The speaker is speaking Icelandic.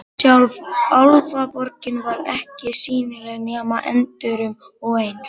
Sjálf Álfaborgin var ekki sýnileg nema endrum og eins.